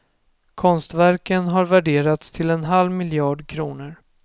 Konstverken har värderats till en halv miljard kronor.